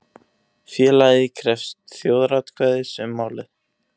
Félagið krefst þjóðaratkvæðis um málið